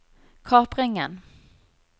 kapringen